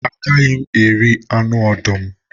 A gaghị m eri anụ ọdụm